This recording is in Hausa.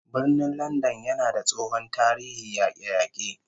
Birnin Landan yana da tsohon tarihin yake-yake